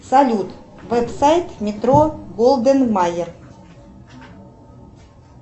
салют веб сайт метро голден майер